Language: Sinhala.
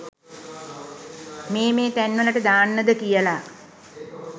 මේ මේ තැන් වලට දාන්නද කියලා.